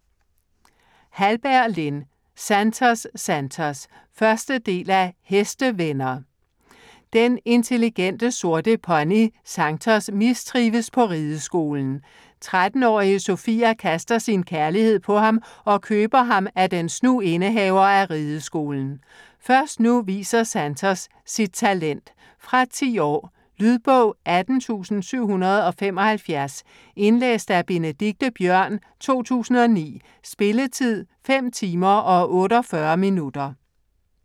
Hallberg, Lin: Santos, Santos 1. del af Hestevenner. Den intelligente sorte pony Santos mistrives på rideskolen. 13-årige Sophia kaster sin kærlighed på ham og køber ham af den snu indehaver af rideskolen. Først nu viser Santos sit talent. Fra 10 år. Lydbog 18775 Indlæst af Benedikte Biørn, 2009. Spilletid: 5 timer, 48 minutter.